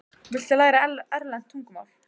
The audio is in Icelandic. Viltu læra erlent tungumál?